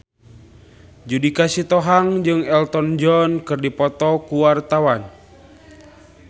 Judika Sitohang jeung Elton John keur dipoto ku wartawan